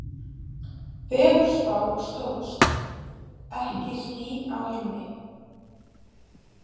Veðurspá stóðst, ekki ský á himni.